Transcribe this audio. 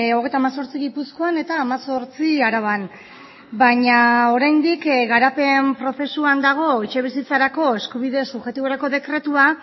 hogeita hemezortzi gipuzkoan eta hemezortzi araban baina oraindik garapen prozesuan dago etxebizitzarako eskubide subjektiborako dekretua